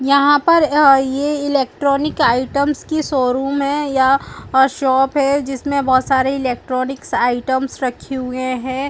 यहां पर आ--ये इलेक्ट्रॉनिक आइटम्स की शोरूम है यह शॉप है जिसमें बहुत सारे इलेक्ट्रॉनिक आइटम्स रखे हुए हैं।